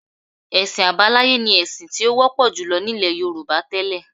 Ẹ̀sìn àbáláyé ni ẹ̀sìn tí ó wọ́pọ̀ jùlọ nílẹ̀ Yorùbá tẹ́lẹ̀